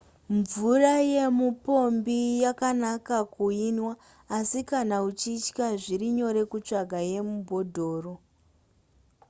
mvura yemupombi yakanaka kuinwa asi kana uchitya zviri nyore kutsvaga yemubhodhoro